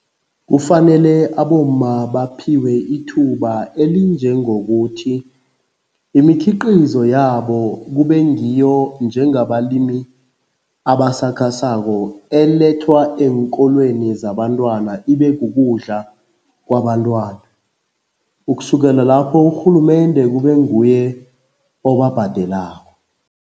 Kufanele abomma baphiwe ithuba elinjengokuthi, imikhiqizo yabo kube ngiyo njengabalimi abasakhasako elethwa eenkolweni zabantwana ibe kukudla kwabentwana. Ukusukela lapho urhulumende kube nguye obabhadelako.